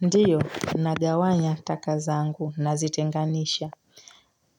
Ndiyo, nagawanya taka zangu nazitenganisha.